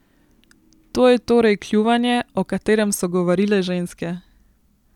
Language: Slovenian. To je torej kljuvanje, o katerem so govorile ženske.